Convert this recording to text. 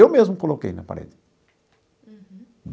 Eu mesmo coloquei na parede. Uhum.